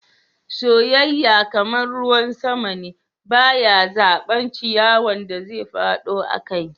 Soyayya, kaman ruwan sama, ba ya zaba ciyawan da zai fado akai.